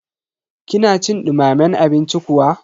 kina cin dumamen abinci kuwa?